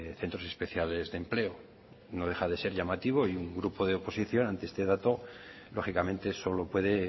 centros especiales de empleo no deja de ser llamativo y un grupo de la oposición ante este dato lógicamente solo puede